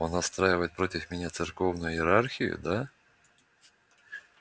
он настраивает против меня церковную иерархию да